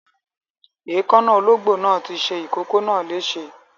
Èékánná olóńgbò náà ti ṣe ìkókó náà léṣe.